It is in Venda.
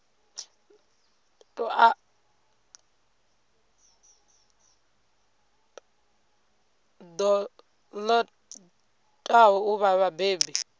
ṱo ḓaho u vha vhabebi